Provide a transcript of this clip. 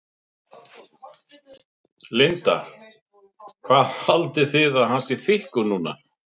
Linda: Hvað haldið þið að hann sé þykkur núna?